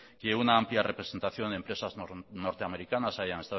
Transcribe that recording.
que una amplia representación de empresas norteamericanas hayan